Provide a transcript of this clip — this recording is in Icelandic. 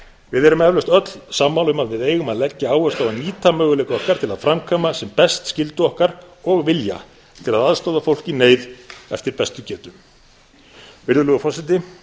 við erum eflaust öll sammála um að við eigum að leggja áherslu á að nýta möguleika okkar til að framkvæma sem best skyldu okkar og vilja til að aðstoða fólk í neyð eftir bestu getu virðulegur forseti